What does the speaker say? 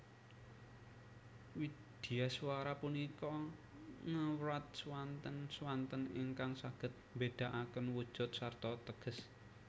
Widyaswara punika ngewrat swanten swanten ingkang saged mbedakaken wujud sarta teges